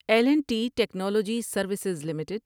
L and T technology services limited